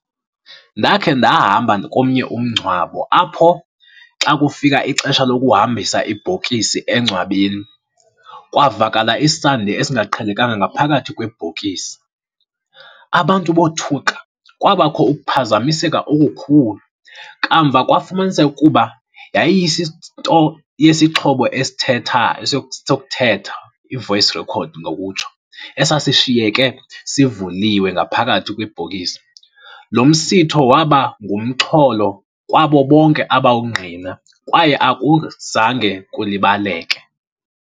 Ndakhe ndahamba komnye umngcwabo apho xa kufika ixesha lokuhambisa ibhokisi engcwabeni, kwavakala isandi esingaqhelekanga ngaphakathi kwebhokisi. Abantu bothuka, kwabakho ukuphazamiseka okukhulu. Kamva kwafumaniseka ukuba yesixhobo esithetha, sokuthetha, i-voice recorder ngokutsho, esasishiyeke sivuliwe ngaphakathi kwibhokisi. Lo msitho waba ngumxholo kwabo bonke abawungqina kwaye akuzange kulibaleke.